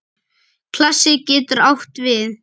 Klasi getur átt við